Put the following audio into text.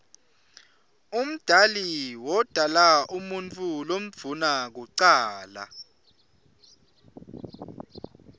umdali wodala umuutfu lomdouna kucala